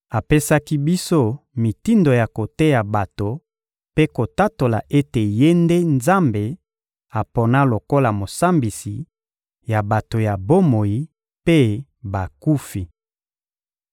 Apesaki biso mitindo ya koteya bato mpe kotatola ete Ye nde Nzambe apona lokola Mosambisi ya bato ya bomoi mpe bakufi.